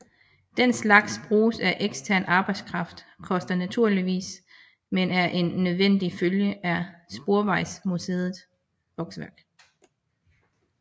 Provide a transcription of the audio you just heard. Den slags brug af ekstern arbejdskraft koster naturligvis men er en nødvendig følge af Sporvejsmuseets vokseværk